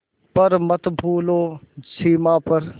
पर मत भूलो सीमा पर